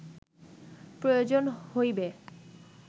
প্রয়োজন হইবে